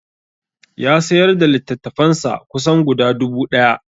Ya sayar da littattafansa kusan guda dubu ɗaya